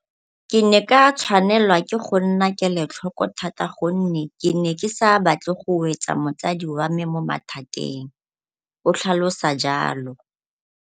Ke ne ka tshwanelwa ke go nna kelotlhoko thata gonne ke ne ke sa batle go wetsa mosadi wa me mo mathateng, o tlhalosa jalo.